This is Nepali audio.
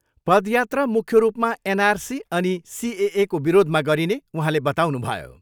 पदयात्रा मुख्य रूपमा एनआरसी अनि सिएएको विरोधमा गरिने उहाँले बताउनुभयो।